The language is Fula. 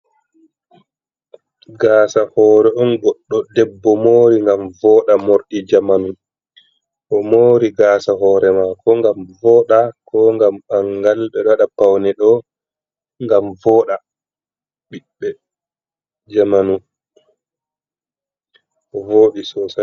Gasa hore on goddo debbo mori ngam voda morɗi jamanu o mori gasa hore mako gam voda ko gam ɓangal be dada paune do gam voda bibbe jamanu vodi.